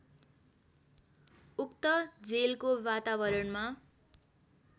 उक्त जेलको वातावरणमा